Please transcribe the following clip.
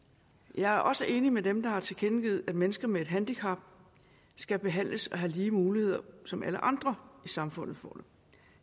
jeg er også enig med dem der har tilkendegivet at mennesker med et handicap skal behandles og have de samme muligheder som alle andre i samfundet